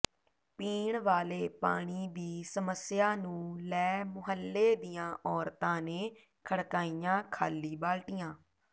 ਪੀਣ ਵਾਲੇ ਪਾਣੀ ਦੀ ਸਮੱਸਿਆ ਨੂੰ ਲੈ ਮੁਹੱਲੇ ਦੀਆਂ ਔਰਤਾਂ ਨੇ ਖੜਕਾਈਆਂ ਖ਼ਾਲੀ ਬਾਲਟੀਆਂ